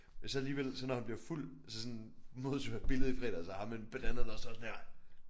Så alligevel så når han bliver fuld altså sådan måde tog jo et billede i fredag af ham med en banana der står sådan her